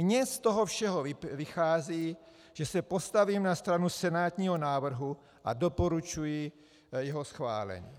Mně z toho všeho vychází, že se postavím na stranu senátního návrhu a doporučuji jeho schválení.